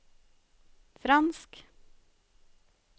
fransk